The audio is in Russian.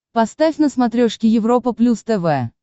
поставь на смотрешке европа плюс тв